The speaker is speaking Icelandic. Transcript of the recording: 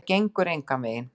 Þetta gengur engan veginn.